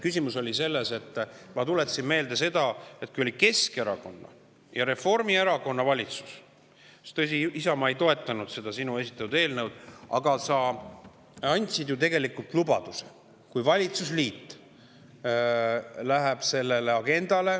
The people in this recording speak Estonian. Küsimus oli selles, et ma tuletasin meelde, et kui oli Keskerakonna ja Reformierakonna valitsus – Isamaa ei toetanud seda sinu esitatud eelnõu –, siis sa andsid ju tegelikult lubaduse, et kui valitsusliit selle agenda …